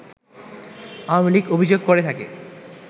Awami League অভিযোগ করে থাকে